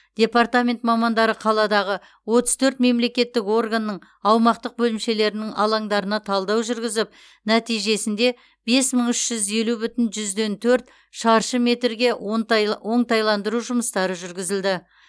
департамент мамандары қаладағы отыз төрт мемлекеттік органның аумақтық бөлімшелерінің алаңдарына талдау жүргізіп нәтижесінде бес мың үш жүз елі бүтін оннан төрт шаршы метрге оңтайландыру жұмыстары жүргізілді